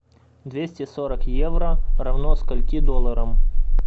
двести сорок евро равно скольки долларам